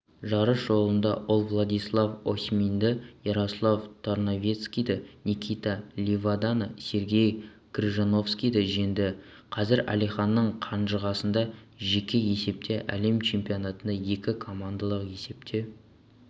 жарыс жолында олвладислав осьмининді ярослав тарновецкийді никита ливаданы сергей крыжановскийді жеңді қазір әлиханның қанжығасында жеке есепте әлем чемпионатында екі командалық есепте